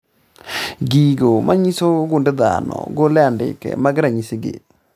Gigo manyiso gund dhano golo andike mag ranyisi gi